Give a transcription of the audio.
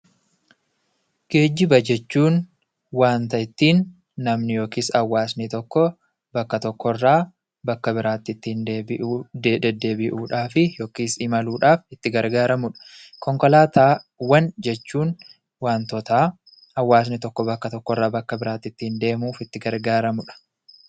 Geejjiba jechuun waanta ittiin namni yookiin hawaasni tokko bakka tokko irraa bakka biraatti ittiin deddeebi'uudhaaf (imaluudhaaf) itti gargaaramu dha. Konkolaataawwan jechuun waantota hawaasni tokko bakka tokkorraa bakka biraatti ittiin deemuuf itti gargaaramu dha.